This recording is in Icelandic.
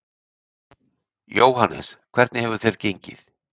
Jóhannes: Hvernig hefur þér gengið?